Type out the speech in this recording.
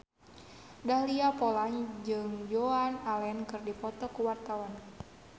Dahlia Poland jeung Joan Allen keur dipoto ku wartawan